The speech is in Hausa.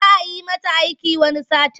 Za yi mata aiki wani satin.